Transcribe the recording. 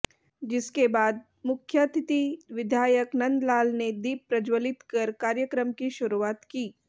जिसके बाद मुख्यातिथि विधायक नंदलाल ने दीप प्रज्वलित कर कार्यक्रम की शुरुआत की